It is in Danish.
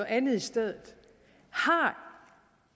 andet i stedet har